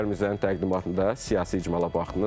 Heydər Mirzənin təqdimatında siyasi icmala baxdınız.